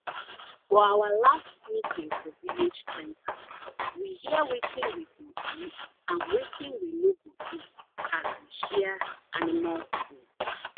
for our last meeting for village center we hear wetin we go do and wetin we no go do as we share animal food